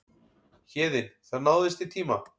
Héðinn: Það náðist í tíma?